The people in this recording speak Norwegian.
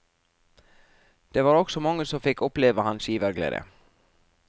Det var også mange som fikk oppleve hans giverglede.